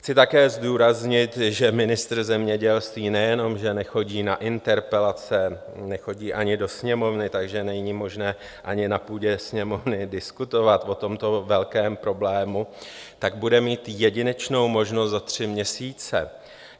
Chci také zdůraznit, že ministr zemědělství nejenom že nechodí na interpelace, nechodí ani do Sněmovny, takže není možné ani na půdě Sněmovny diskutovat o tomto velkém problému, tak bude mít jedinečnou možnost za tři měsíce.